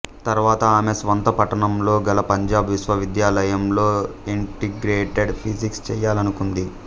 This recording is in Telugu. తర్వాత ఆమె స్వంత పట్టణంలో గల పంజాబ్ విశ్వవిద్యాలయంలో ఇంటిగ్రేటెడ్ ఫిజిక్స్ చేయాలనుకుంది